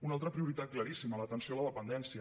una altra prioritat claríssima l’atenció a la dependèn·cia